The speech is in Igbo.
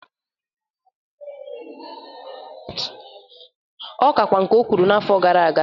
Ọ kakwa nke ọ kwụrụ na afọ gara aga.